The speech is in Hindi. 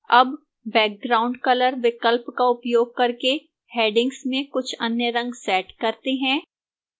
अब background color विकल्प का उपयोग करके headings में कुछ अन्य रंग set करते हैं